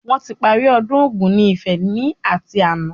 Wọn tí parí ọdún Ògún ni Ifẹ̀ ni ati àná